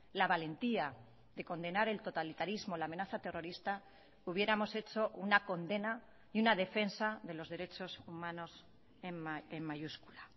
la valentía de condenar el totalitarismo la amenaza terrorista hubiéramos hecho una condena y una defensa de los derechos humanos en mayúscula